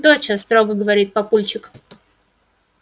доча строго говорит папульчик